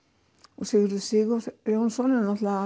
og Sigurður Sigurjónsson er náttúrulega